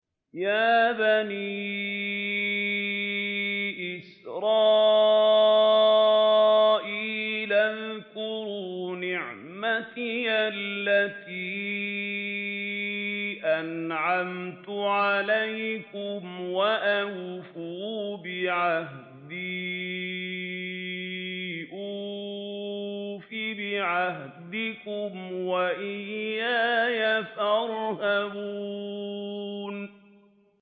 يَا بَنِي إِسْرَائِيلَ اذْكُرُوا نِعْمَتِيَ الَّتِي أَنْعَمْتُ عَلَيْكُمْ وَأَوْفُوا بِعَهْدِي أُوفِ بِعَهْدِكُمْ وَإِيَّايَ فَارْهَبُونِ